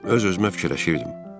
Öz-özümə fikirləşirdim.